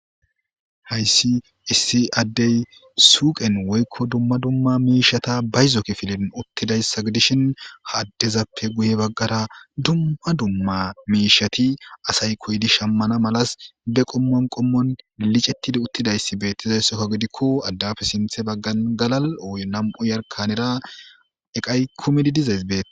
hayssi issi addey suuqen woykko dumma dumma miishata bayzo kifilin uttidayssa gidishin ha addezappe guye baggara dumma dumma miishati asay koydi shammana malas be qommon qommon lilicettidi uttidayssi beettizayssokko gidikko addafe sinthe baggan galal ooyo nam7u yarkanera eqay kumidi dizays bee